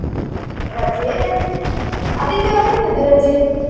ರಜೆ ಆದಿತ್ಯವಾರ ಇರ್ತದೆ ರಜೆ .